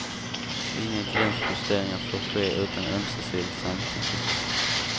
Inga gränsjusteringar får ske utan ömsesidigt samtycke.